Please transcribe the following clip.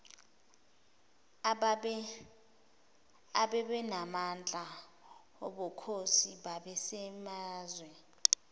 ababenamandla obukhosi basemazwe